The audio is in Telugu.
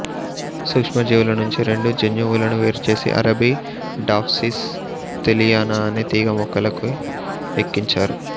సూక్ష్మజీవుల నుంచి రెండు జన్యువులను వేరుచేసి అరాబిడాప్సిస్ థేలియానా అనే తీగ మొక్కలోకి ఎక్కించారు